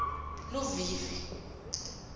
luvivi